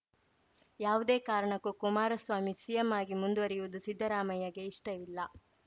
ಯಾವುದೇ ಕಾರಣಕ್ಕೂ ಕುಮಾರಸ್ವಾಮಿ ಸಿಎಂ ಆಗಿ ಮುಂದುವರಿಯುವುದು ಸಿದ್ದರಾಮಯ್ಯಗೆ ಇಷ್ಟವಿಲ್ಲ